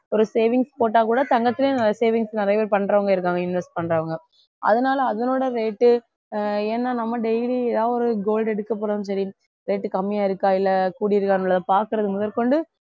ஒரு savings போட்டா கூட தங்கத்துலயும் நல்ல savings நிறைய பேரு பண்றவங்க இருக்காங்க invest பண்றவங்க அதனால அதனோட rate ஆஹ் ஏன்னா நம்ம daily ஏதாவது ஒரு gold எடுக்கப்போறதுனாலும் சரி rate கம்மியா இருக்கா இல்லை கூடியிருக்கா உள்ளதா பார்க்கிறது முதற்கொண்டு